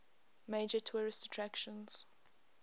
major tourist attractions